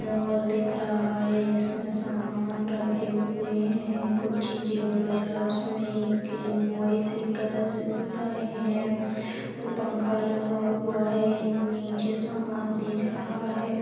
mall दिख रहा है जिसमें सामान रखे हुए हैं कुछ चीजे वगैरा उसमें एक बोयसिकल्स दिख रहे हैं एक पंखा लगा हुआ है नीचे सामान दिख रहा है औ --